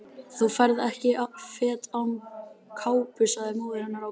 Þú ferð ekki fet án kápu sagði móðir hennar ákveðin.